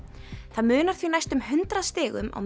það munar því næstum hundrað stigum á